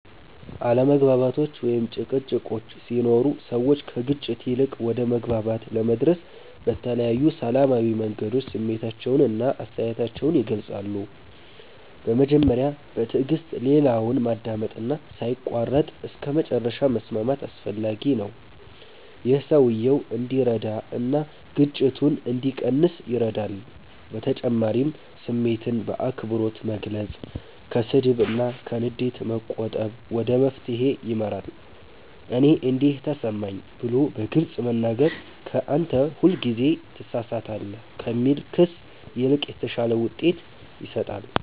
አለመግባባቶች ወይም ጭቅጭቆች ሲኖሩ ሰዎች ከግጭት ይልቅ ወደ መግባባት ለመድረስ በተለያዩ ሰላማዊ መንገዶች ስሜታቸውን እና አስተያየታቸውን ይገልጻሉ። በመጀመሪያ በትዕግስት ሌላውን ማዳመጥ እና ሳይቋረጥ እስከመጨረሻ መስማት አስፈላጊ ነው። ይህ ሰውየው እንዲረዳ እና ግጭቱ እንዲቀንስ ይረዳል በተጨማሪም ስሜትን በአክብሮት መግለጽ፣ ከስድብ እና ከንዴት መቆጠብ ወደ መፍትሄ ይመራል። “እኔ እንዲህ ተሰማኝ” ብሎ በግልጽ መናገር ከ “አንተ ሁልጊዜ ትሳሳታለህ” ከሚል ክስ ይልቅ የተሻለ ውጤት ይሰጣል።